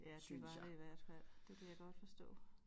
Ja det var det i hvert fald det kan jeg godt forstå